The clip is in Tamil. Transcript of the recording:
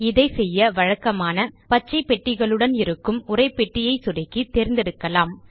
இதை செய்ய வழக்கமான பச்சை பெட்டிகளுடன் இருக்கும் உரைப்பெட்டியை சொடுக்கி தேர்ந்தெடுக்கலாம்